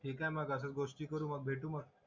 ठीक हाय मग आता गोष्टी करू मग भेटू मग